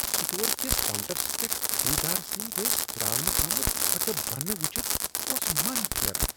Store کِس counters پیٹھ خریدار سٕنٛدۍ دٔسۍ ترٛاونہٕ آمٕژ ژھۄٹہٕ بنہٕ وُچھتھ اوس من پھیران۔